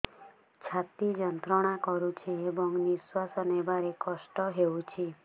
ଛାତି ଯନ୍ତ୍ରଣା କରୁଛି ଏବଂ ନିଶ୍ୱାସ ନେବାରେ କଷ୍ଟ ହେଉଛି